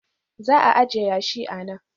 Za a ajiye yashi a nan